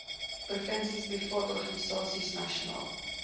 provinsie privaatsektororganisasies nasionaal